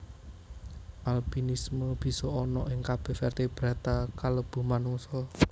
Albinisme bisa ana ing kabeh vertebrata kalebu manungsa